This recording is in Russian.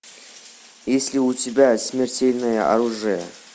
есть ли у тебя смертельное оружие